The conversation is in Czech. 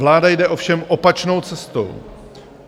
Vláda jde ovšem opačnou cestou.